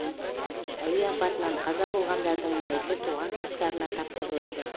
әуе апатынан қаза болғандардың мәйіті туған туыстарына тапсырылады